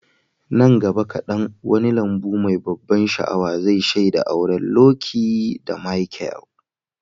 Nan gaba kadan, wani lambu mai ban sha'awa zai shaida auren Lucy da Michael.